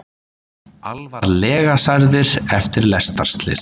Alvarlega særðir eftir lestarslys